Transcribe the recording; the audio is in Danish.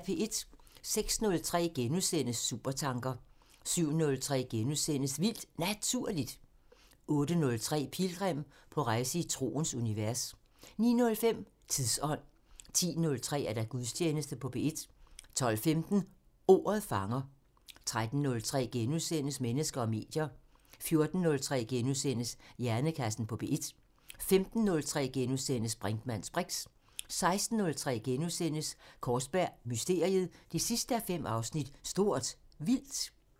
06:03: Supertanker * 07:03: Vildt Naturligt * 08:03: Pilgrim – på rejse i troens univers 09:05: Tidsånd 10:03: Gudstjeneste på P1 12:15: Ordet fanger 13:03: Mennesker og medier * 14:03: Hjernekassen på P1 * 15:03: Brinkmanns briks * 16:03: Kaarsberg Mysteriet 5:5 – Stort Vildt *